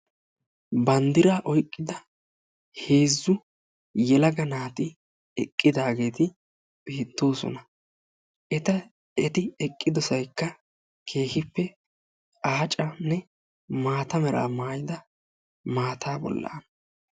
bandiraa oyqida heezzu yelaga naati eqqidaageeti beetoosona. eti eqqidosaykka keehippe aacanne maata meraa maayida maata bolaana.